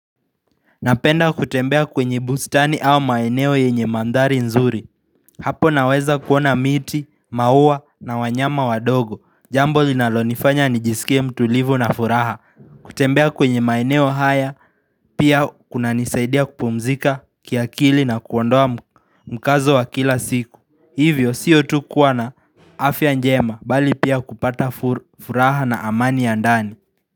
Napenda kutembea kwenye bustani au maeneo yenye mandhari nzuri Hapo naweza kuona miti, maua na wanyama wadogo Jambo linalonifanya nijisikie mtulivu na furaha kutembea kwenye maeneo haya pia kunanisaidia kupumzika kiakili na kuondoa mkazo wa kila siku. Hivyo sio tu kuwa na afya njema bali pia kupata furaha na amani ya ndani.